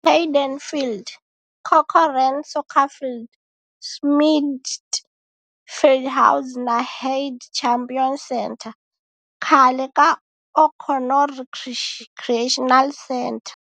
Hayden Field, Corcoran Soccer Field, Schmidt Fieldhouse na Heidt Champion Center, khale ka O'Connor Recreational Center.